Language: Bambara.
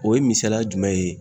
O ye misaliya jumɛn ye